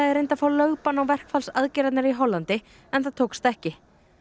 reyndi að fá lögbann á verkfallsaðgerðirnar í Hollandi en það tókst ekki